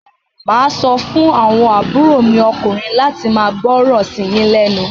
Màá sọ fún àwọn àbúrò mi ọkùnrin láti máa gbọ́ràn sí yín lẹ́nu.